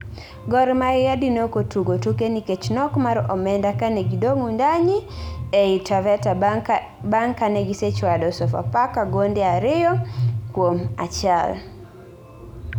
Gor Mahia dine okotugo tuke nikech nok mar omenda kane gi dong Wundanyi ei Taveta bang kane gi sechwado Sofapaka gonde ariyo kuom achiel